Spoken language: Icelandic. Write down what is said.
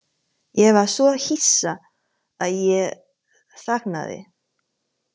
Ég var svo hissa að ég þagnaði.